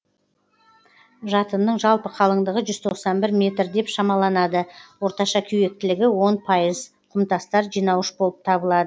жатынның жалпы қалыңдығы жүз тоқсан бір метр деп шамаланады орташа кеуектілігі он пайыз құмтастар жинауыш болып табылады